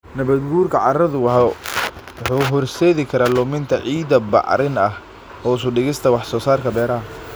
Nabaadguurka carradu wuxuu horseedi karaa luminta ciidda bacrin ah, hoos u dhigista wax soo saarka beeraha.